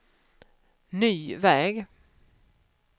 ny väg